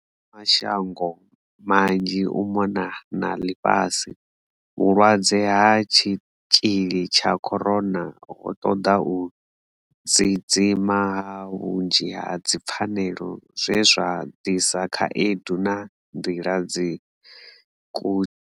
Kha mashango manzhi u mona na ḽifhasi, vhulwadze ha tshitzhili tsha corona ho ṱoḓa u dziidzima ha vhunzhi ha dzipfanelo zwe zwa ḓisa khaedu na nḓila dza ku.